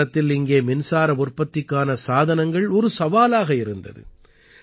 ஒரு காலத்தில் இங்கே மின்சார உற்பத்திக்கான சாதனங்கள் ஒரு சவாலாக இருந்தது